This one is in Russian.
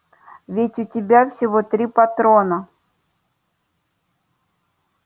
ведь у тебя всего три патрона